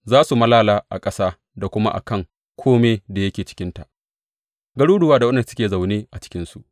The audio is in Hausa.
Za su malala a ƙasa da kuma a kan kome da yake cikinta, garuruwa da waɗanda suke zaune a cikinsu.